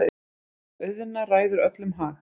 Auðna ræður öllum hag.